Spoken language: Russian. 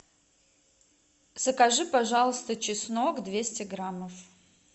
закажи пожалуйста чеснок двести граммов